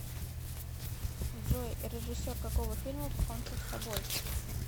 джой режиссер какого фильма покончил с собои